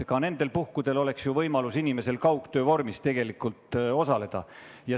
Ka nendel puhkudel oleks ju tegelikult inimesel võimalik kaugtöö vormis osaleda.